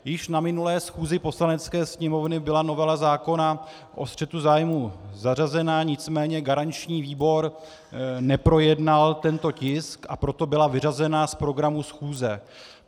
Již na minulé schůzi Poslanecké sněmovny byla novela zákona o střetu zájmů zařazena, nicméně garanční výbor neprojednal tento tisk, a proto byla vyřazena z programu schůze.